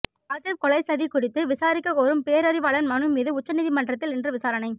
ராஜீவ் கொலைச் சதி குறித்து விசாரிக்க கோரும் பேரறிவாளன் மனு மீது உச்சநீதிமன்றத்தில் இன்று விசாரணை